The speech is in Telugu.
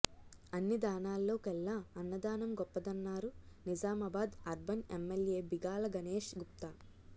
అన్ని దానాల్లో కెల్లా అన్నదానం గొప్పదన్నారు నిజమాబాద్ అర్బన్ ఎమ్మెల్యే బిగాల గణేష్ గుప్తా